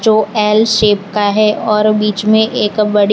दो L shape का है और बीच में एक बड़ी --